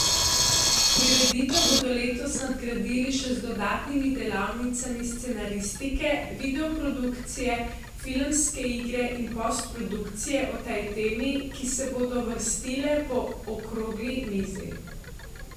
Prireditev bodo letos nadgradili še z dodatnimi delavnicami scenaristike, videoprodukcije, filmske igre in postprodukcije o tej temi, ki se bodo vrstile po okrogli mizi.